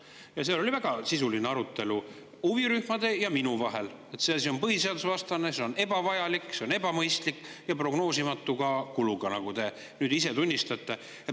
Ja seal oli huvirühmade ja minu vahel väga sisuline arutelu, et see asi on põhiseadusvastane, see on ebavajalik, see on ebamõistlik ja ka prognoosimatu kuluga, nagu te nüüd ise tunnistasite.